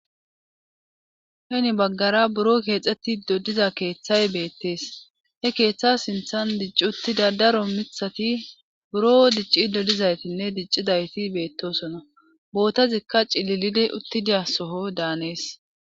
heni baggara buro keexxeti dodiza keeththay beettees he keeththa sinthan dicci uttida daro mithati buro dicci dodizaytinne dicci dayti beettosona bootazikka cililide uttidiya soho daanees